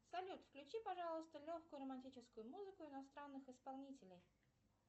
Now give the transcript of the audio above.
салют включи пожалуйста легкую романтическую музыку иностранных исполнителей